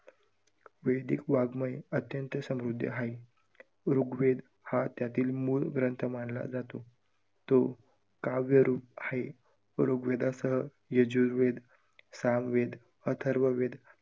वैदिक वाङमय अत्यंत समृद्ध आहे. ऋग्वेद हा त्यातील मूल ग्रंथ मानला जातो, तो काव्यरूप आहे. ऋग्वेदासह यजुर्वेद, सामवेद, अथर्ववेद